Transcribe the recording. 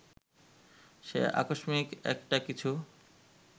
যে আকস্মিক একটা কিছু